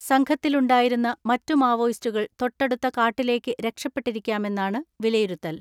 സംഘത്തിലുണ്ടായിരുന്ന മറ്റു മാവോയിസ്റ്റുകൾ തൊട്ടടുത്ത കാട്ടിലേക്ക് രക്ഷപ്പെട്ടിരിക്കാമെന്നാണ് വിലയിരുത്തൽ.